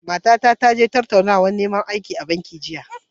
Matata ta je tattaunawar neman aiki a banki jiya.